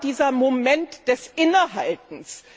Wo war dieser Moment des Innehaltens?